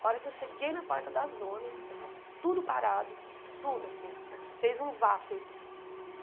A hora que eu cheguei na porta da zona, tudo parado, tudo assim, fez um vácuo,